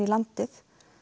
landið